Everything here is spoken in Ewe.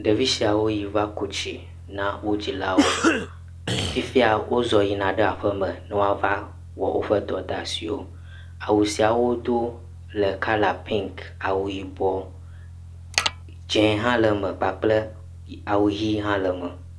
Ɖevi siawo yi va ku tsi na wo dzilawo, fifia wozɔ yina, awu sia wodo le kala pink, awu yibɔ, dzee hã le me, kpakple awu ʋɛ̃ hã le me,